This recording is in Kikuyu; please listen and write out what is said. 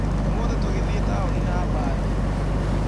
Ũmũthĩ tũgĩthiĩ taũni na mbathi.